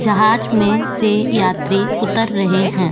जहाज में से यात्री उतर रहे हैं।